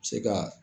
Se ka